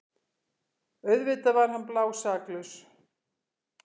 Auðvitað var hann blásaklaus!